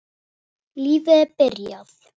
Lífið er byrjað.